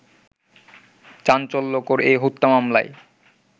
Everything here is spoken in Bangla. চাঞ্চল্যকর এ হত্যা মামলায়